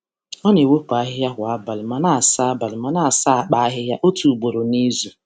Ọ na-ewepụ ahịhịa kwa abalị ma na-asa abalị ma na-asa akpa ahịhịa otu ugboro n’izu.